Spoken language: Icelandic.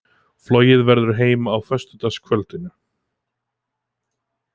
Flogið verður heim á fimmtudagskvöldinu.